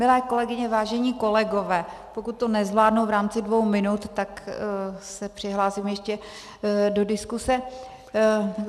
Milé kolegyně, vážení kolegové, pokud to nezvládnu v rámci dvou minut, tak se přihlásím ještě do diskuse.